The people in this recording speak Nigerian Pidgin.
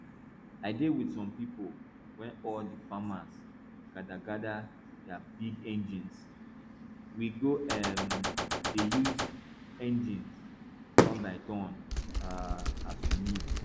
i dey with some pipo wey all the farmers gather gather their big engines we go um dey use engines turnbyturn um as we need